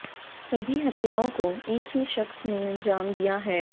सभी हत्याओं को एक ही शख्स ने अंजाम दिया है